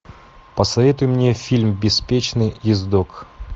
посоветуй мне фильм беспечный ездок